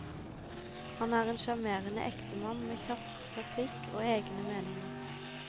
Han er en sjarmerende enkemann med kjapp replikk og egne meninger.